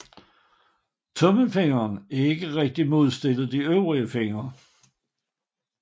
Tommelfingeren er ikke rigtigt modstillet de øvrige fingre